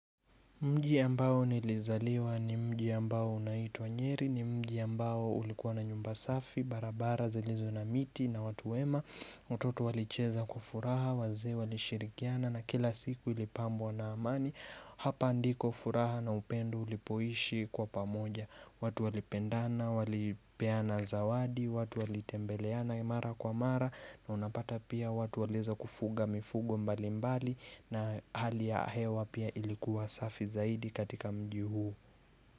Mji ambao nilizaliwa ni mji ambao unaituwa nyeri, ni mji ambao ulikuwa na nyumba safi, barabara, zilizoo na miti na watu wema watoto walicheza kwa furaha, wazee, walishirikiana na kila siku ilipambwa na amani Hapa ndiko furaha na upendo ulipoishi kwa pamoja watu walipendana, walipeana zawadi, watu walitembeleana mara kwa mara na unapata pia watu walieza kufuga mifugo mbali mbali na hali ya hewa pia ilikuwa safi zaidi katika mji huo.